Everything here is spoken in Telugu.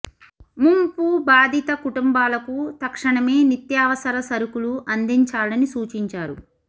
ముంపు బాధిత కుటుంబాలకు తక్షణమే నిత్యావసర సరుకులు అందిం చాలని సూచించారు